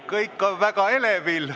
Kõik on väga elevil.